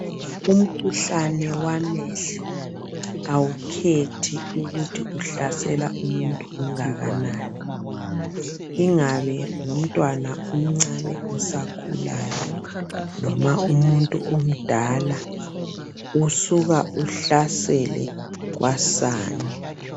Umkhuhlane wamehlo awukhethi ukuthi uhlasela umuntu ongaka nani ingabe ngumntwana omncane osakhulayo noma umuntu omdala usuka uhlasele kwasani.